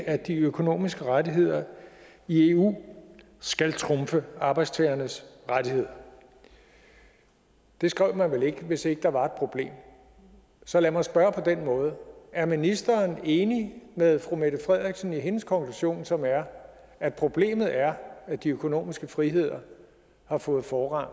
at de økonomiske rettigheder i eu skal trumfe arbejdstagernes rettigheder det skrev man vel ikke hvis ikke der var et problem så lad mig spørge på denne måde er ministeren enig med fru mette frederiksen i hendes konklusion som er at problemet er at de økonomiske friheder har fået forrang